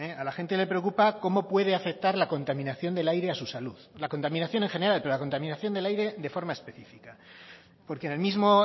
a la gente le preocupa cómo puede afectar la contaminación del aire a su salud la contaminación en general pero la contaminación del aire de forma específica porque en el mismo